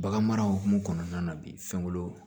Bagan mara hukumu kɔnɔna na bi fɛn wolon